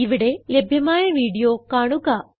ഇവിടെ ലഭ്യമായ വീഡിയോ കാണുക